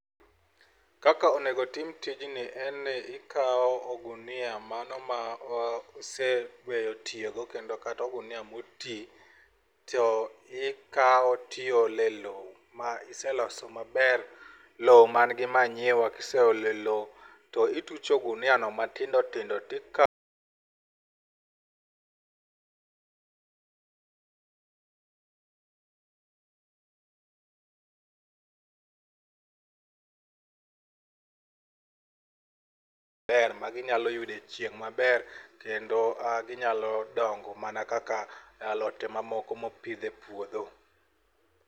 Kaka onego tim tijni en ni ikawo ogunia mano ma iseweyo tiyogo kendo kata ogunia moti to ikawo to iole lowo ma iseloso maber lowo man gi manyiwa, ka ise ole lowo to itucho oguniano matindo tindo to ikawo ber maginyalo yude chieng' maber kendo ginyalo dongo mana kaka alote mamoko ma opidh e puodho.